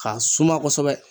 K'a suma kosɛbɛ